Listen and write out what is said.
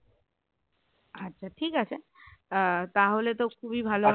আচ্ছা ঠিক আছে আহ তাহলে তো খুবই ভালো